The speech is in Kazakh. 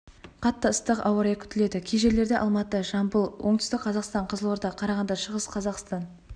қатты ыстық ауа райы күтіледі кей жерлерде алматы жамбыл оңтүстік қазақстан қызылорда қарағанды шығыс қазақстан